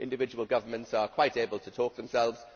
Individual governments are quite able to speak for themselves.